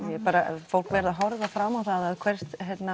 bara fólk verður að horfa fram á það að hvert